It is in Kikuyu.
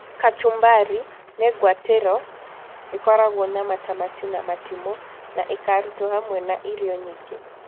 Kachumbari, nĩ ngwatĩro ĩkoragwo na matamati na matimũ, na ĩkarutwo hamwe na irio nyingĩ.